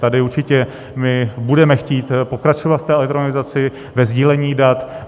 Tady určitě my budeme chtít pokračovat v té elektronizaci, ve sdílení dat.